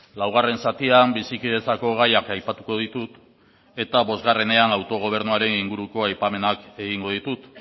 laugarren zatian bizikidetzako gaiak aipatuko ditut eta bosgarrenean autogobernuaren inguruko aipamenak egingo ditut